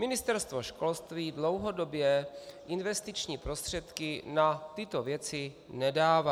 Ministerstvo školství dlouhodobě investiční prostředky na tyto věci nedává.